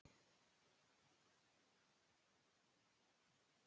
Listasafninu var slegin myndin á uppboði.